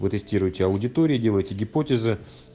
вы тестируете аудитории делаете гипотезы